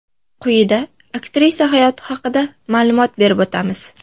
Quyida aktrisa hayoti haqida ma’lumot berib o‘tamiz.